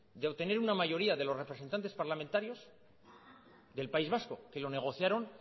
de obtener una mayoría de los representantes parlamentarios del país vasco que lo negociaron